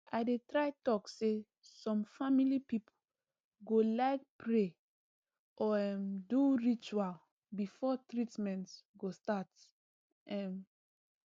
i dey try talk say some family people go like pray or um do ritual before treatment go start um